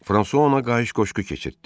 Fransua ona qayış qoşqu keçirtdi.